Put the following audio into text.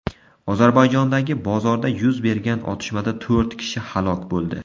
Ozarbayjondagi bozorda yuz bergan otishmada to‘rt kishi halok bo‘ldi.